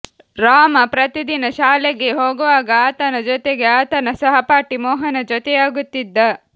ರಾಮ ಪ್ರತಿದಿನ ಶಾಲೆಗೆ ಹೋಗುವಾಗ ಆತನ ಜೊತೆಗೆ ಆತನ ಸಹಪಾಠಿ ಮೋಹನ ಜೊತೆಯಾಗುತ್ತಿದ್ದ